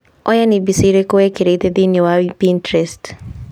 Oya nĩ mbica irĩkũ wĩkĩrĩte thĩinĩ wa Pinterest?